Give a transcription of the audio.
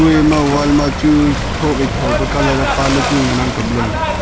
kue e wall ma chu tho wai tho pa colour e pa ang ngan ley tai ley.